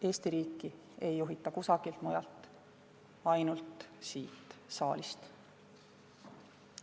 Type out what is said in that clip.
Eesti riiki ei juhita mitte kusagilt mujalt kui ainult siit saalist.